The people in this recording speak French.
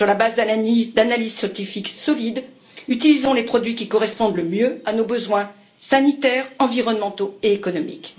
Sur la base d'analyses scientifiques solides, utilisons les produits qui correspondent le mieux à nos besoins sanitaires, environnementaux et économiques.